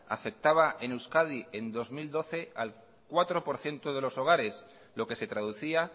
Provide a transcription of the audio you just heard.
afectaba en euskadi en dos mil doce al cuatro por ciento de los hogares lo que se traducía